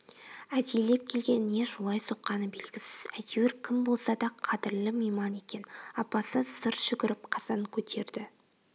әдейлеп келген не жолай соққаны белгісіз әйтеуір кім болса да қадырлы мейман екен апасы зыр жүгіріп қазан көтерді